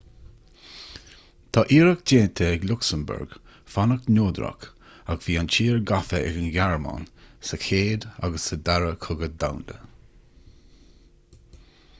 tá iarracht déanta ag lucsamburg fanacht neodrach ach bhí an tír gafa ag an ghearmáin sa chéad agus sa dara cogadh domhanda